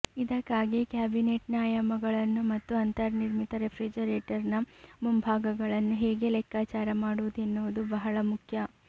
ಇದಕ್ಕಾಗಿ ಕ್ಯಾಬಿನೆಟ್ನ ಆಯಾಮಗಳನ್ನು ಮತ್ತು ಅಂತರ್ನಿರ್ಮಿತ ರೆಫ್ರಿಜರೇಟರ್ನ ಮುಂಭಾಗಗಳನ್ನು ಹೇಗೆ ಲೆಕ್ಕಾಚಾರ ಮಾಡುವುದು ಎನ್ನುವುದು ಬಹಳ ಮುಖ್ಯ